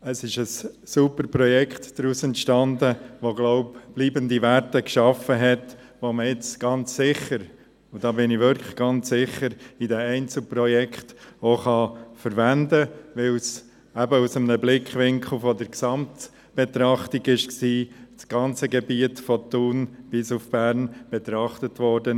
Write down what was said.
Es ist ein super Projekt daraus entstanden, das – so glaube ich – bleibende Werte geschaffen hat, die man ganz sicher – und da bin ich wirklich ganz sicher – auch in den Einzelprojekten verwenden kann, da es aus einem Blickwinkel der Gesamtbetrachtung war und das ganze Gebiet von Thun bis Bern betrachtet wurde.